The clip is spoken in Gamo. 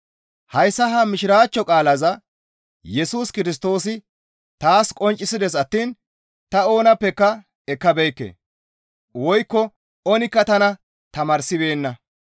Hayssa ha Mishiraachcho qaalaza Yesus Kirstoosi taas qonccisides attiin ta oonappeka ekkabeekke; woykko oonikka tana tamaarsibeenna.